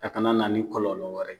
A kana na ni kɔlɔlɔ wɛrɛ ye.